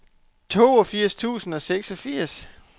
toogfirs tusind og seksogfirs